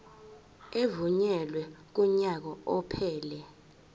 evunyelwe kunyaka ophelele